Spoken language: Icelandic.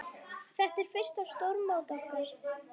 Þetta er fyrsta stórmót okkar.